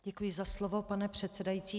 Děkuji za slovo, pane předsedající.